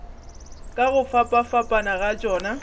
ka go fapafapana ga tšona